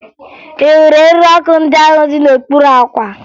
Ị hụrụ eriri ọkụ ndị ahụ dị n'okpuru àkwà?